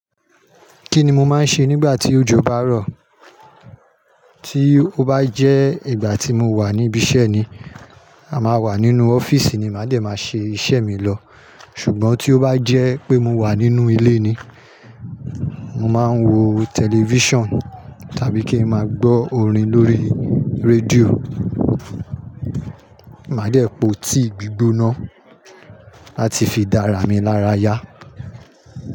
Kí ni mo máa ń ṣe nígbà tí òjò bá rọ̀ tí ó bá jẹ́ ìgbà tí mo wà níbi iṣẹ́ ni, a máa wà nínú ọ́fíìsì ni màá dẹ̀ máa ṣe iṣẹ́ mi lọ. Ṣùgbọ́n tí ó bá jẹ́ pé mo wà nínú ilé ni, mo máa ń wo tẹlifíṣàn tàbí kí n máa gbọ́ orin lórí radio. Màá dẹ̀ po tíì gbígbóná láti fi dá ara mi lára yá.